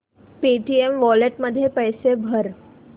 Paytm wallet मध्ये पैसे भर